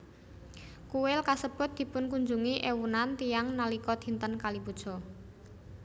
Kuil kasebut dipunkunjungi éwunan tiyang nalika dinten Kali Puja